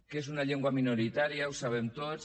que és una llengua minoritària ho sabem tots